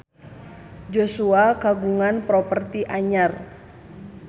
Joshua kagungan properti anyar